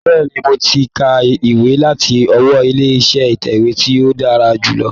Bẹ́ẹ̀ni, mo ti ka ìwé láti ọwọ́ ilé iṣẹ́ ìtẹ̀wé tí ó dára jù lọ?